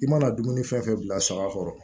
I mana dumuni fɛn fɛn bila saga kɔrɔ